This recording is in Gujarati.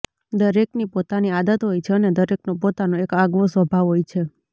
દરેકની પોતાની આદત હોય છે અને દરેકનો પોતાનો એક આગવો સ્વભાવ હોય છે